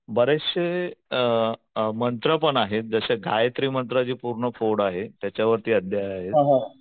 बरेचशे अ मंत्र पण आहेत जसे गायत्री मंत्राची पूर्ण फोड आहे त्याच्यावरती आहे